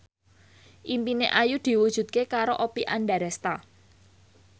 impine Ayu diwujudke karo Oppie Andaresta